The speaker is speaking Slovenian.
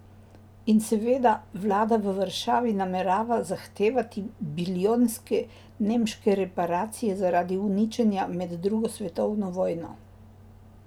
In seveda, vlada v Varšavi namerava zahtevati bilijonske nemške reparacije zaradi uničenja med drugo svetovno vojno.